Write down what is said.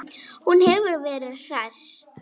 Hún hefur verið hress?